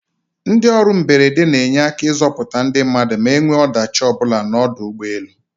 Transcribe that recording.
Ndị ọrụ mberede n'enye aka ịzọputa ndị mmadụ ma enwee ọdachi ọbụla n'ọdọ ụgbọelu.